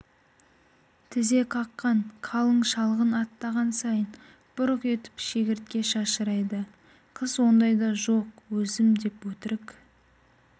тізе қаққан қалың шалғын аттаған сайын бұрқ етіп шегіртке шашырайды қыз ондайда жоқ өзім деп өтірік